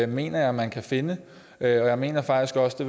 mener jeg man kan finde jeg mener faktisk også det